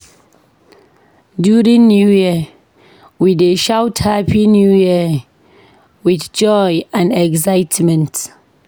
During New Year, we dey shout "Happy New Year!" with joy and excitement.